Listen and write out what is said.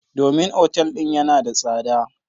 Domin otal din yana da tsada.